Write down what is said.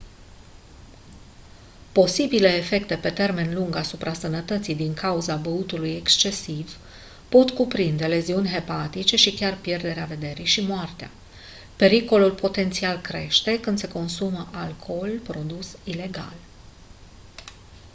posibile efecte pe termen lung asupra sănătății din cauza băutului excesiv pot cuprinde leziuni hepatice și chiar pierderea vederii și moartea pericolul potențial crește când se consumă alcool produs ilegal